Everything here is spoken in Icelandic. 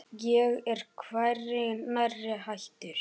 Ég er hvergi nærri hættur.